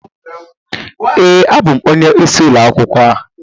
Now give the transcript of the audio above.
Ee, abụ m onye isi ulo akwukwo a